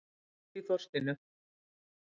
Dolli, hringdu í Þorstínu.